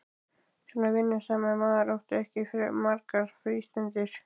Svo vinnusamur maður átti ekki margar frístundir.